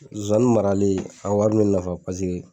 Zozani marali a wari mɛ n nafa paseke